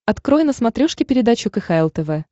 открой на смотрешке передачу кхл тв